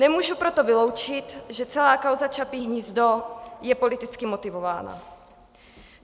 Nemohu proto vyloučit, že celá kauza Čapí hnízdo je politicky motivována.